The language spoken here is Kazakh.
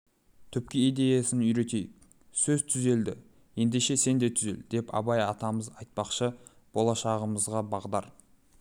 түпкі идеясын үйретейік сөз түзелді ендеше сен де түзел деп абай атамыз айтпақшы болашағымызға бағдар